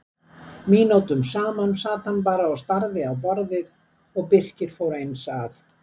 Mínútum saman sat hann bara og starði á borðið og Birkir fór eins að.